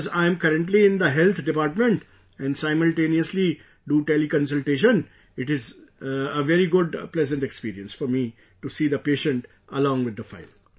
Because I am currently in the health department and simultaneously do teleconsultation... it is a very good, pleasant experience for me to see the patient along with the file